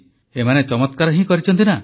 ଏମାନେ ଚମତ୍କାର ହିଁ କରିଛନ୍ତି ନା